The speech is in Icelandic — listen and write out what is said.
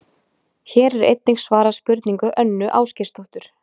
Hér er einnig svarað spurningu Önnu Ásgeirsdóttur: